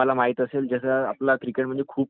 आणखी आता आमचा सचिन